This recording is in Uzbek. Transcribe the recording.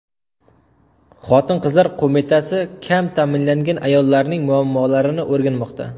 Xotin-qizlar qo‘mitasi joylarda kam ta’minlangan ayollarning muammolarini o‘rganmoqda.